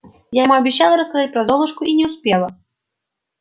я ему обещала рассказать про золушку и не успела